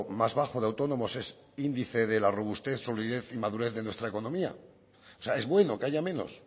más bajo de autónomos es índice de la robustez solidez y madurez de nuestra economía o sea es bueno que haya menos